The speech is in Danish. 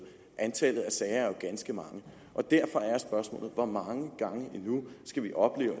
antallet af sager er jo ganske mange og derfor er spørgsmålet hvor mange gange endnu skal vi opleve